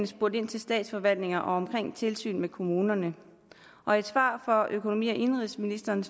spurgt ind til statsforvaltningerne om tilsynet med kommunerne og i et svar fra økonomi og indenrigsministeren